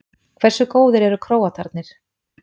Hversu góðir eru Króatarnir?